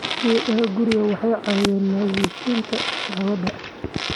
Geedaha guriga waxay caawiyaan nadiifinta hawada.